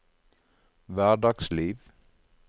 hverdagsliv